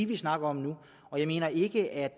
vi snakker om nu jeg mener ikke at